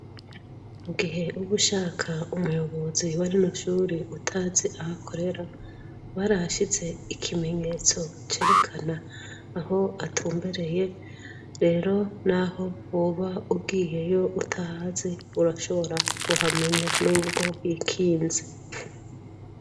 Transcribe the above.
Mu gihe uba ushaka umuyobozi wa rino shure utazi aho akorera barahashize ikimenyetso cerekana aho atumbereye rero naho woba ugiyeyo utahazi woshobora kuhamenya nubwo hikinze.